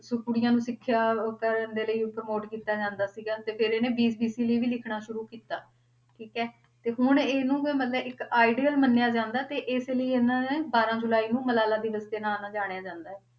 ਸੋ ਕੁੜੀਆਂ ਨੂੰ ਸਿੱਖਿਆ ਕਰਨ ਦੇ ਲਈ promote ਕੀਤਾ ਜਾਂਦਾ ਸੀਗਾ ਤੇ ਫਿਰ ਇਹਨੇ BBC ਲਈ ਵੀ ਲਿਖਣਾ ਸ਼ੁਰੂ ਕੀਤਾ, ਠੀਕ ਹੈ ਤੇ ਹੁਣ ਇਹਨੂੰ ਫਿਰ ਮਤਲਬ ਇੱਕ ideal ਮੰਨਿਆ ਜਾਂਦਾ ਤੇ ਇਸੇ ਲਈ ਇਹਨਾਂ ਨੇ ਬਾਰਾਂ ਜੁਲਾਈ ਨੂੰ ਮਲਾਲਾ ਦਿਵਸ ਦੇ ਨਾਂ ਨਾਲ ਜਾਣਿਆ ਜਾਂਦਾ ਹੈ।